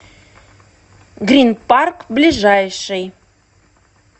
грин парк ближайший